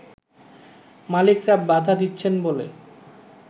মালিকরা বাধা দিচ্ছেন বলে